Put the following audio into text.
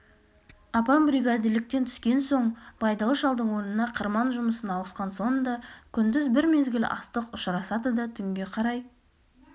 апам бригадирліктен түскен соң байдалы шалдың орнына қырман жұмысына ауысқан сонда күндіз бір мезгіл астық ұшырысады да түнге қарай